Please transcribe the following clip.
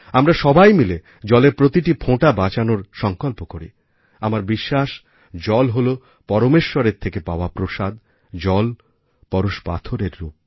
আমরা সবাই মিলে জলের প্রতিটি ফোঁটা বাঁচানোর সংকল্প করি আমার বিশ্বাস জল হল পরমেশ্বরের থেকে পাওয়া প্রসাদ জল পরশপাথরের রূপ